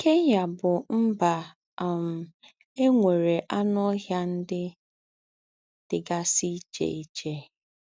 Kenya bú mbà um è nwéré ànù ọ́hịà ndí́ dí́gásí íché íché.